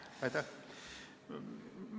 Aitäh!